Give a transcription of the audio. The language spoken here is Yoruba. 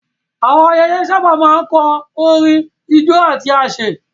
Àwọn ayẹyẹ sábà máa ń kan orin, ijó, àti àsè.